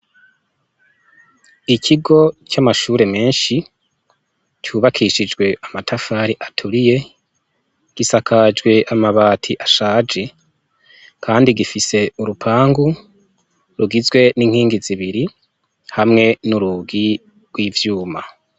Ikigo cy'amashure menshi cubakishijwe amatafari aturiye gisakajwe amabati ashaje, kandi gifise urupangu rugizwe n'inkingi zibiri hamwe n'urugi rw'ivyuma.